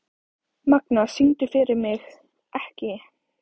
Magna, syngdu fyrir mig „Ekki“.